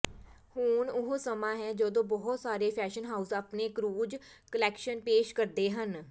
ਹੁਣ ਉਹ ਸਮਾਂ ਹੈ ਜਦੋਂ ਬਹੁਤ ਸਾਰੇ ਫੈਸ਼ਨ ਹਾਊਸ ਆਪਣੇ ਕਰੂਜ਼ ਕੁਲੈਕਸ਼ਨ ਪੇਸ਼ ਕਰਦੇ ਹਨ